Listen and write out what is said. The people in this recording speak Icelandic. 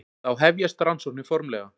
Þá hefjast rannsóknir formlega.